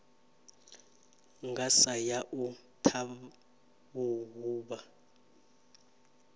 nga sa ya u ṱhaṱhuvha